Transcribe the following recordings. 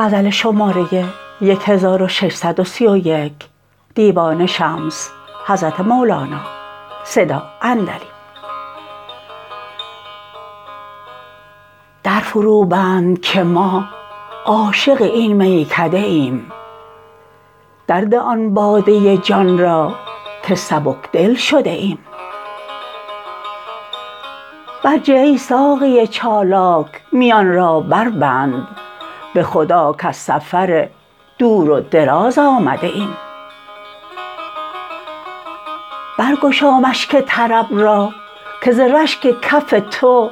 در فروبند که ما عاشق این میکده ایم درده آن باده جان را که سبک دل شده ایم برجه ای ساقی چالاک میان را بربند به خدا کز سفر دور و دراز آمده ایم برگشا مشک طرب را که ز رشک کف تو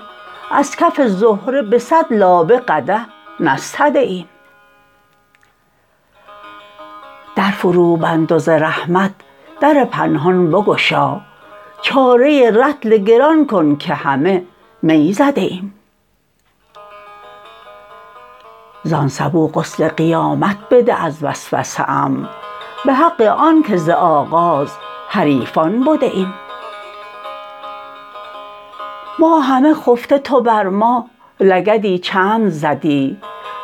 از کف زهره به صد لابه قدح نستده ایم در فروبند و ز رحمت در پنهان بگشا چاره رطل گران کن که همه می زده ایم زان سبو غسل قیامت بده از وسوسه ام به حق آنک ز آغاز حریفان بده ایم ما همه خفته تو بر ما لگدی چند زدی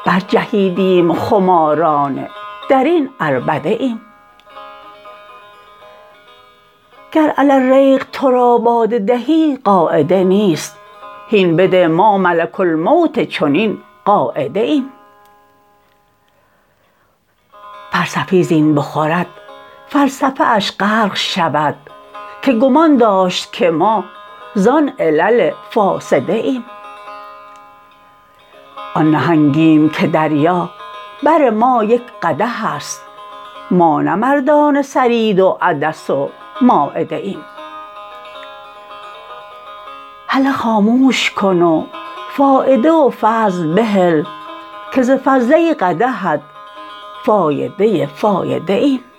برجهیدیم خمارانه در این عربده ایم گر علی الریق تو را باده دهی قاعده نیست هین بده ما ملک الموت چنین قاعده ایم فلسفی زین بخورد فلسفه اش غرق شود که گمان داشت که ما زان علل فاسده ایم آن نهنگیم که دریا بر ما یک قدح است ما نه مردان ثرید و عدس و مایده ایم هله خاموش کن و فایده و فضل بهل که ز فضله ی قدحت فایده فایده ایم